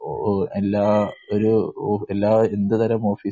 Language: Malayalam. എല്ലാ ഒരു എല്ലാ വിവിധതരം ഓഫിസു